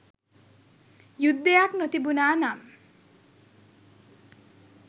යුද්ධයක් නොතිබුණා නම්